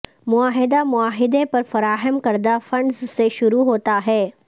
معاہدہ معاہدے پر فراہم کردہ فنڈز سے شروع ہوتا ہے